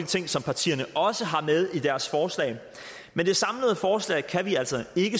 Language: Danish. ting som partierne også har med i deres forslag men det samlede forslag kan vi altså ikke